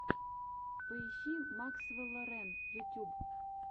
поищи максвелла рэн ютюб